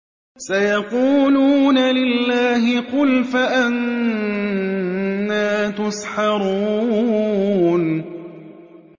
سَيَقُولُونَ لِلَّهِ ۚ قُلْ فَأَنَّىٰ تُسْحَرُونَ